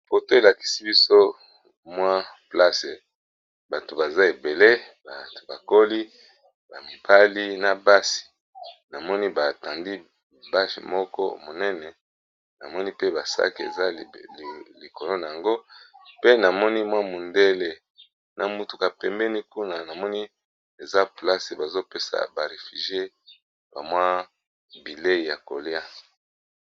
Poto elakisi biso mwa place bato baza ebele. Bato bakoli bamibali na basi na moni batandi bage moko monene namoni pe basake, eza likolo na yango pe namoni mwa mundele na mutuka pembeni kuna namoni eza place bazopesa ba refugie ba mwa bilei ya kolia.